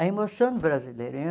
A emoção do brasileiro.